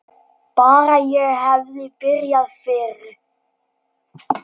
Bara ég hefði byrjað fyrr!